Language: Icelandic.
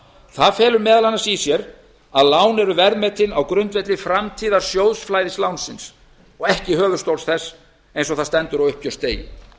það felur meðal annars í sér að lán eru verðmetin á grundvelli framtíðarsjóðs flæðislánsins og ekki höfuðstóls þess eins og það stendur á uppgjörsdegi